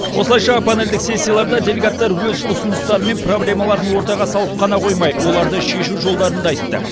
осылайша панельдік сессияларда делегаттар өз ұсыныстары мен проблемаларын ортаға салып қана қоймай оларды шешу жолдарын да айтты